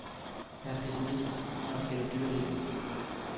Jeg er pessimist, når det gælder dyrelivet.